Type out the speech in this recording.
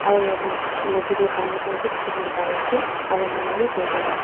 aru yatte niche teh pani khan bhi dekhi bole pari ase aru manu bhi boi kena ase.